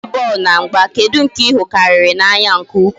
N'ime bọọlụ na mgba, kedu nke I hụ karịrị n'anya nke ukwu?